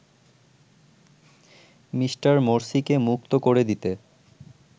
Me. মোরসিকে মুক্ত করে দিতে